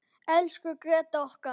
Elsku Gréta okkar.